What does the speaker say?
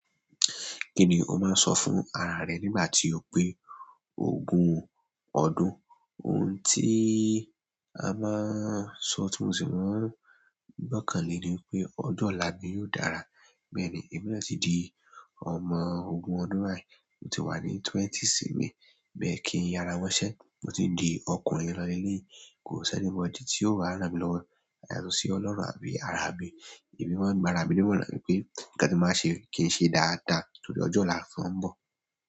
Kí ni o máa ń sọ fún ara rẹ nígbà tí o pé ogún ọdún? Ohun tí a máa ń sọ, tí mu sì máa ń gbọ́kàn lé ni wípé ọjọ́ ọ̀la mi yóò dára. Bẹ́ẹ̀ ni, èmi náà ti di ọmọ ogún ọdún bài, mo ti wà ní twenty-six mi, bẹ́ẹ̀ kí n yara mọ́ṣẹ́. Mo ti di ọkùnrin lọ́nà ilé, kò sẹ́ni mọ̀ ọ́n di tí ó ràrá mi lọ́wọ́, yàtọ̀ sí Ọlọ́run àbí ara mi. Èmi máa n gbára mi nimọran wipé nkán ti mo bá ń ṣè, ki n ṣe dada torí ọjọ ọla tó ń bọ.